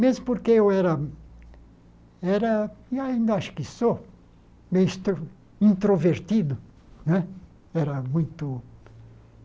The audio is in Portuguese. Mesmo porque eu era, era e ainda acho que sou, meio extro introvertido né. Era muito